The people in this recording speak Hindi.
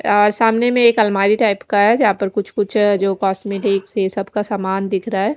अ सामने में एक अलमारी टाइप का है जहाँ पर कुछ कुछ अ जो कोस्मेटिक सबका सामान दिख रहा है।